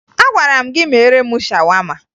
Agwara m gị meere m shawama!